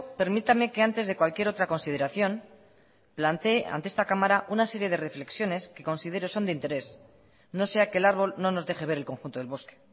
permítame que antes de cualquier otra consideración plantee ante esta cámara una serie de reflexiones que considero son de interés no sea que el árbol no nos deje ver el conjunto del bosque